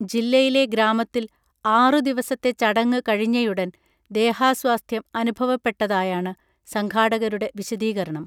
ജില്ലയിലെ ഗ്രാമത്തിൽ ആറുദിവസത്തെ ചടങ്ങ് കഴിഞ്ഞയുടൻ ദേഹാസ്വാസ്ഥ്യം അനുഭവപ്പെട്ടതായാണ് സംഘാടകരുടെ വിശദീകരണം